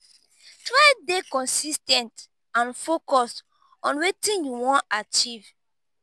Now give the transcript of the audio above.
try de consis ten t and focused on wetin you won achieve